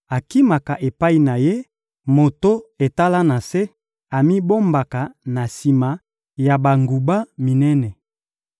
akimaka epai na Ye, moto etala na se, amibombaka na sima ya banguba minene.